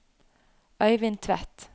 Øivind Tvedt